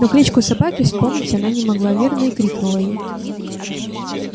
но кличку собаки вспомнить она не могла верно и крикнула ей